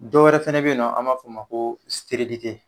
Dɔwɛrɛ fana bɛ yen nɔ an b'a fɔ o ma ko